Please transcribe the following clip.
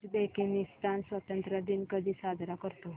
Uzbekistan स्वतंत्रता दिन कधी साजरा करतो